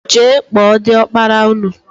Jee kpọọ diọkpara ụnụ!!!!